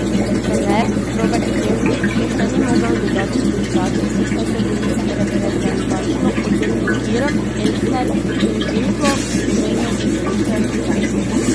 Trener Robert Pevnik moštva ni mogel dodatno uigrati, saj so bili reprezentančno odsotni Kirm, Elsner in Žinko, ki pomenijo hrbtenico ekipe.